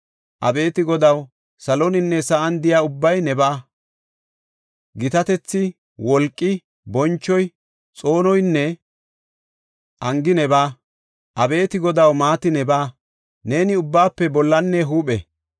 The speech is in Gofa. Abeeti Godaw, saloninne sa7an de7iya ubbay nebaa! Gitatethi, wolqi, bonchoy, xoonoynne angi nebaa! Abeeti Godaw, maati nebaa; neeni ubbaafe bollanne huuphe.